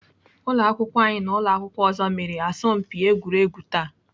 Ụlọakwụkwọ anyị na ụlọakwụkwọ ọzọ mere asọmpi egwuregwu taa